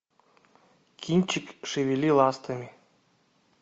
кинчик шевели ластами